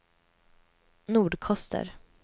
Nordkoster